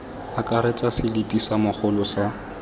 akaretsa selipi sa mogolo sa